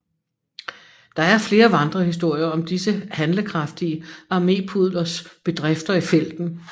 Der er flere vandrehistorier om disse handlekraftige armépudlers bedrifter i felten